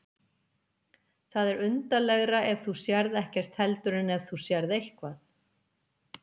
Það er undarlegra ef þú sérð ekkert heldur en ef þú sérð eitthvað.